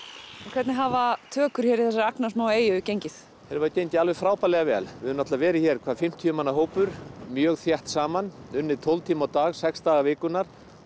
hvernig hafa tökur hér í þessari agnarsmaú eyju gengið þær hafa gengið alveg frábærlega vel við höfum verið hér hvað fimmtíu manna hópur mjög þétt saman unnið tólf tíma á dag sex daga vikunnar